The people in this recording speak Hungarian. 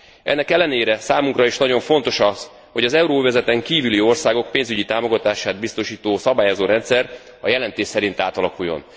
Ennek ellenére számunkra is nagyon fontos az, hogy az euróövezeten kívüli országok pénzügyi támogatását biztosító szabályozórendszer a jelentés szerint átalakuljon.